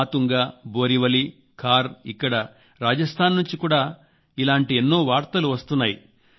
మాతుంగా బోరీవలీ ఖార్ ఇక్కడ రాజస్థాన్ నుంచి కూడా ఇలాంటి ఎన్నో వార్తలు వస్తున్నాయి